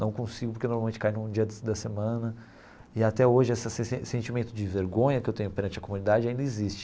Não consigo porque normalmente cai num dia da da semana e até hoje esse esse sentimento de vergonha que eu tenho perante a comunidade ainda existe.